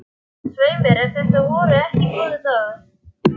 Erna, hvernig verður veðrið á morgun?